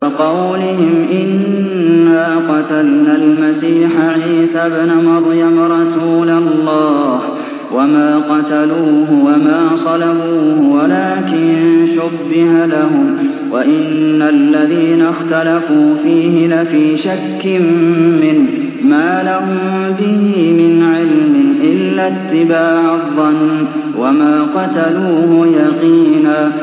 وَقَوْلِهِمْ إِنَّا قَتَلْنَا الْمَسِيحَ عِيسَى ابْنَ مَرْيَمَ رَسُولَ اللَّهِ وَمَا قَتَلُوهُ وَمَا صَلَبُوهُ وَلَٰكِن شُبِّهَ لَهُمْ ۚ وَإِنَّ الَّذِينَ اخْتَلَفُوا فِيهِ لَفِي شَكٍّ مِّنْهُ ۚ مَا لَهُم بِهِ مِنْ عِلْمٍ إِلَّا اتِّبَاعَ الظَّنِّ ۚ وَمَا قَتَلُوهُ يَقِينًا